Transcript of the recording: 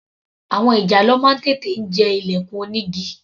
Àwọn ìjàlọ máa ń tètè jẹ ilẹ̀kùn onígi.